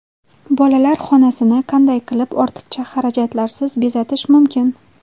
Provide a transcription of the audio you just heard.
Bolalar xonasini qanday qilib ortiqcha xarajatlarsiz bezatish mumkin?.